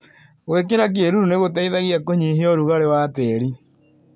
Gwĩkĩra kĩruru nĩgũteithagia kũnyihia ũrugarĩ wa tĩri.